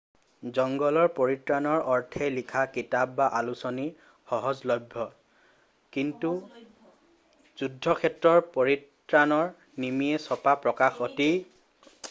জঙ্গলৰ পৰিত্ৰাণৰ অৰ্থে লিখা কিতাপ বা আলোচনী সহজলভ্য কিন্তু যুদ্ধক্ষেত্ৰৰ পৰিত্ৰাণৰ নিমিত্তে ছপা প্ৰকাশন অতি বিৰল